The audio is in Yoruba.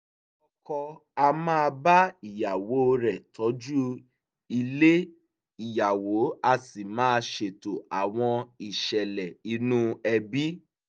ọkọ á máa bá ìyàwó rẹ̀ tọ́jú ilé ìyàwó á sì máa ṣètò àwọn ìṣẹ̀lẹ̀ inú ẹbí